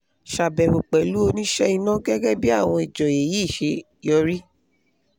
ṣàbẹ́wò pẹ̀lú oníṣe iná gẹ́gẹ́ bí àwọn ìjọ́yé yìí ṣe yọrí